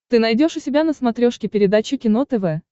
ты найдешь у себя на смотрешке передачу кино тв